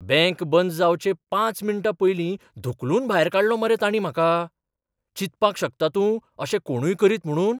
Bank बंद जावचे पांच मिनटां पयलीं धुकलून भायर काडलो मरे तांणी म्हाका. चिंतपाक शकता तूं अशें कोणूय करीत म्हुणून?